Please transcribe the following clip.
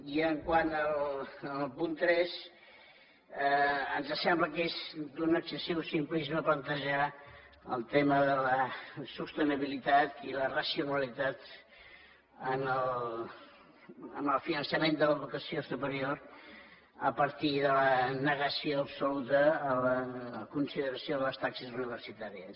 i quant al punt tres ens sembla que és d’un excessiu simplisme plantejar el tema de la sostenibilitat i la racionalitat en el finançament de l’educació superior a partir de la negació absoluta a la consideració de les taxes universitàries